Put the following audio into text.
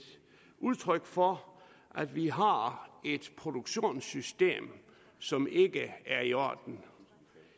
udtryk for at vi har et produktionssystem som ikke er i orden